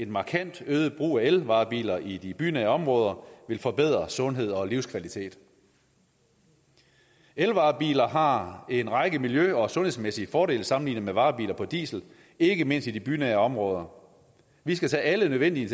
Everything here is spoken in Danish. markant øget brug af elvarebiler i de bynære områder vil forbedre sundhed og livskvalitet elvarebiler har en række miljø og sundhedsmæssige fordele sammenlignet med varebiler på diesel ikke mindst i de bynære områder vi skal tage alle de nødvendige